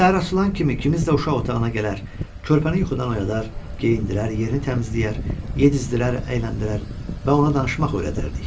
Biz səhər açılan kimi kimimiz də uşaq otağına gələr, körpəni yuxudan oyadar, geyindirər, yerini təmizləyər, yedizdirər, əyləndirər və ona danışmaq öyrədərdik.